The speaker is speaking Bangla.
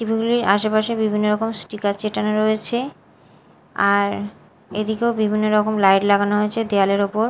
টি_ভি -গুলির আশেপাশে বিভিন্ন রকম স্টিকার চেটানো রয়েছে আর এদিকেও বিভিন্ন রকম লাইট লাগানো হয়েছে দেয়ালের ওপর।